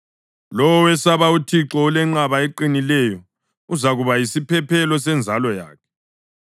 Lowo owesaba uThixo ulenqaba eqinileyo, uzakuba yisiphephelo senzalo yakhe.